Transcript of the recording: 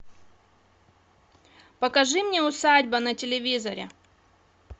покажи мне усадьба на телевизоре